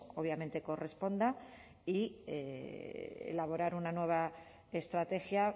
obviamente corresponda y elaborar una nueva estrategia